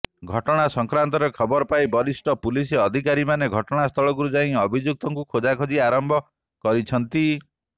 ଘଟନା ସଂକ୍ରାନ୍ତରେ ଖବର ପାଇ ବରିଷ୍ଠ ପୁଲିସ ଅଧିକାରୀମାନେ ଘଟନାସ୍ଥଳକୁ ଯାଇ ଅଭିଯୁକ୍ତଙ୍କୁ ଖୋଜାଖୋନି ଆରମ୍ଭ କରିଛନ୍ତି